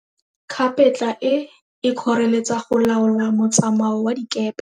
Kgapetla e, e kgoreletsa go laola motsamao wa dikepe.